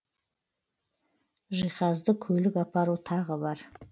жиһазды көлік апару тағы бар